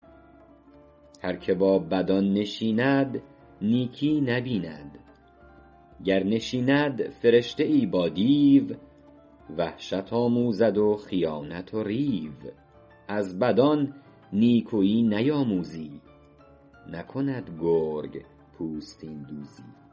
هر که با بدان نشیند نیکی نبیند گر نشیند فرشته ای با دیو وحشت آموزد و خیانت و ریو از بدان نیکویی نیاموزی نکند گرگ پوستین دوزی